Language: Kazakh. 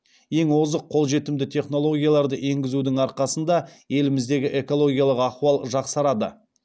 ең озық қолжетімді технологияларды енгізудің арқасында еліміздегі экологиялых ахуал жақсарады